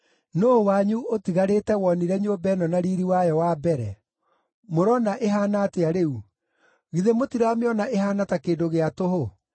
‘Nũũ wanyu ũtigarĩte wonire nyũmba ĩno na riiri wayo wa mbere? Mũrona ĩhaana atĩa rĩu? Githĩ mũtiramĩona ĩhaana ta kĩndũ gĩa tũhũ?’